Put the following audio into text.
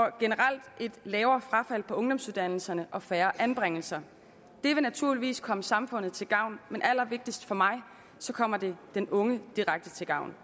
et generelt lavere frafald på ungdomsuddannelserne og færre anbringelser det vil naturligvis komme samfundet til gavn men allervigtigst for mig kommer det den unge direkte til gavn